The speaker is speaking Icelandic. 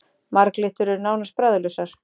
Marglyttur eru nánast bragðlausar.